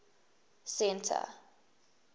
centre